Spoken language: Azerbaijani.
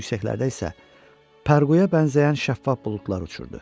Daha yüksəklərdə isə pərquya bənzəyən şəffaf buludlar uçurdu.